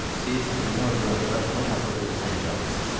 Siz Yeni Orleanda Tom adlı bir zənci almısınız.